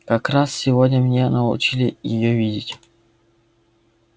как раз сегодня меня научили её видеть